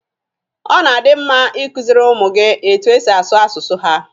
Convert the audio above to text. Ọ na-adi mma i kuziri ụmụ gị etu e si asụ asụsụ ha